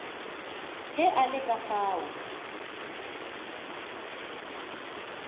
ge a le ka fao